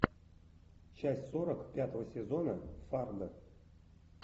часть сорок пятого сезона фарго